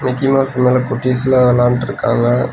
Mickey Mouse மேல குட்டீஸ்ல்லா வெளாண்ட்ருக்காங்க.